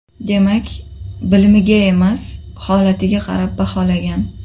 Demak, bilimiga emas, holatiga qarab baholagan.